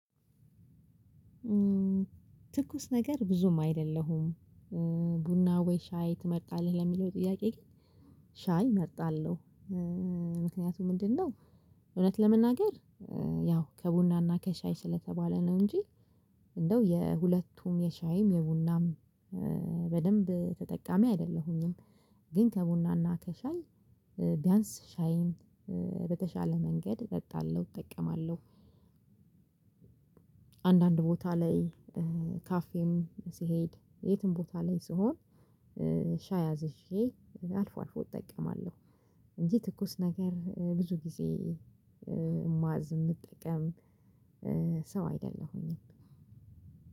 ትኩስ ነገር ብዙም አይደለሁም። ቡና ወይ ሻይ ትመጣለህ? ለሚለው ጥያቄ ግን ሻይ እመርጣለሁ። ምክንያቱም ምንድነው? እውነት ለመናገር። ያው ከቡናና ከሻይ ስለተባለ ነው እንጂ። እንደው የሁለቱም የሻይም የቡናም በደንብ ተጠቃሚ አይደለሁኝም። ግን ከቡናና ከሻይ ቢያንስ ሻይን በተሻለ መንገድ እጠጣለሁ እጠቀማለሁ። አንዳንድ ቦታ ላይ ካፌም ሲሄድ የትም ቦታ ላይ ስሆን። ሻይ አዝዤ አልፎ አልፎ እጠቀማለሁ። እንዴ ትኩስ ነገር ብዙ ጊዜ ማዝ የምጠቀም። ሰው አይደለሁኝም።